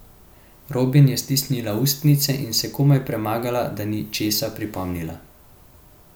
Robin je stisnila ustnice in se komaj premagala, da ni česa pripomnila.